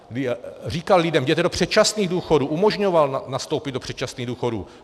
Říkal lidem: jděte do předčasných důchodu, umožňoval nastoupit do předčasných důchodů.